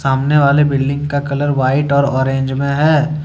सामने वाले बिल्डिंग का कलर व्हाइट और ऑरेंज में है।